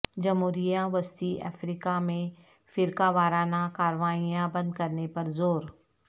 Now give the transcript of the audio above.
جمہوریہ وسطی افریقہ میں فرقہ وارانہ کارروائیاں بند کرنے پر زور